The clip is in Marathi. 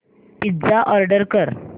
पिझ्झा ऑर्डर कर